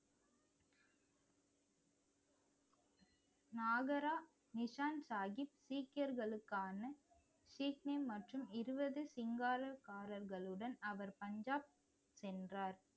நாகரா நிஷான் சாஹிப் சீக்கியர்களுக்கான சீக்கியம் மற்றும் இருவது சிங்காரக்காரர்களுடன் அவர் பஞ்சாப் சென்றார்